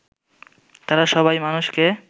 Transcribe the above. তারা সবাই মানুষকে